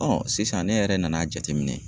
sisan ne yɛrɛ nana jateminɛ.